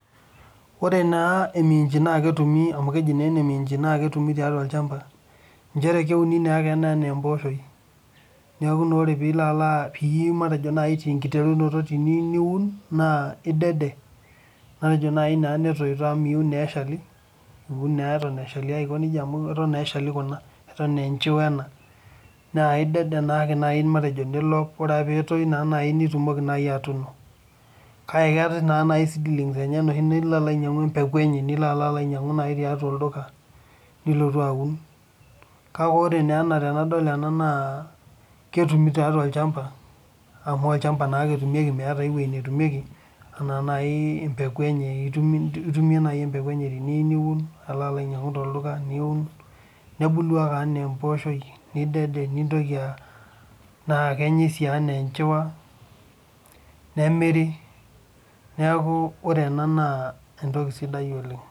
Ore naa emiiinji naa ketumi amu keji naa ene miinji naa ketumi tiatua olchampa, nchere, keuni naa ake ena anaa empooshoi. Neeku naa ore pee ilo alo pii tenkiterunoto peeyiu niun, naa idede, naaji naa netoito amu miyieu naa eshali. iun naa eton eshali aiko nejia amu iun naa eshali kuna. eton aa enchiwa ena. Naa idede naa ake naaji matejo nilok. ore pee etoi naa naji nitumoki atolua. kake keetae naa naji seedlings enyenak, nilo alo ainyiang'u empeku enye. nilo al ainyiangu naaji tiatua olduka, nilotu aun. kake ore naa ena tenadol ena naa ketumi tiatua olchampa. amu olchampa naake etumieki meeta eweui netumieki. anaa naaji empeku enye itumie naaji empeku enye niun alo ainyiangu tolduka niun, nebulu ake anaa empooshoi, nidede nintoki aa naa kenyae sii anaa enchiwa, nemiri. neeku ore ena naa entoki sidai oleng.